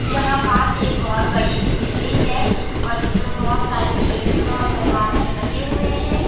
यहां पास एक बहोत बड़ी सी बिल्डिंग है और इसमें बहोत सारी खिड़कियां और दरवाजे लगे हुए हैं।